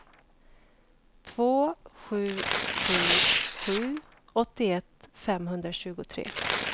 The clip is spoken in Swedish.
två sju sju sju åttioett femhundratjugotre